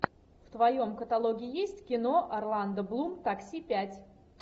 в твоем каталоге есть кино орландо блум такси пять